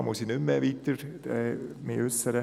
Hierzu muss ich mich nicht mehr weiter äussern.